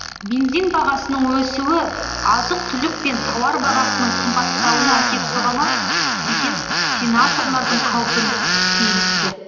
бензин бағасының өсуі азық түлік пен тауар бағасының қымбаттауына әкеп соға ма деген сенаторлардың қаупін сейілтті